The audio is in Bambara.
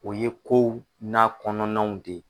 O ye kow n'a kɔnɔnaw de ye.